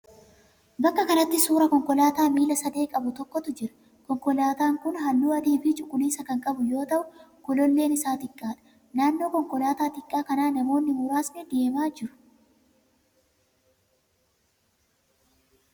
Bakka kanatti suuraa konkolaataa miila sadee qabu tokkotu jira. Konkolaataan kun halluu adii fi cuquliisa kan qabu yoo ta'u gololleen isaa xiqqaadha. Naannoo konkolaataa xiqqaa kanaa namoonni muraasni deemaa jiru.